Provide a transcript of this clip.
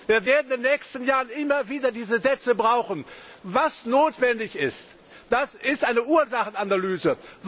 Wir werden in den nächsten Jahren immer wieder diese Sätze brauchen. Was notwendig ist, ist eine Ursachenanalyse.